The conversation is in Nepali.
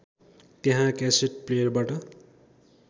त्यहाँ क्यासेट प्लेयरबाट